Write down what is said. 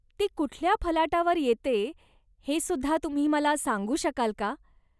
ती कुठल्या फलाटावर येते हे सुद्धा तुम्ही मला सांगू शकाल का?